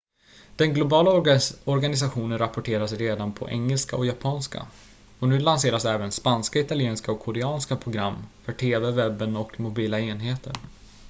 den globala organisationen rapporterar redan på engelska och japanska och nu lanseras även spanska italienska och koreanska program för tv webben och mobila enheter